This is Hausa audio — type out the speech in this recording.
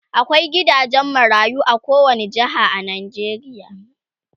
akwai gidajen marayu a kowani jeha a Najeriya